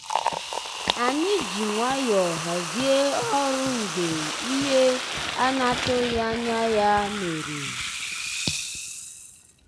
ànyị́ jì nwayọ́ọ̀ hàzíé ọ́rụ́ mgbeé íhé á ná-àtụ́ghị́ ànyá yá mérè.